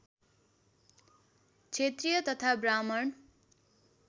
क्षेत्रीय तथा ब्राह्मण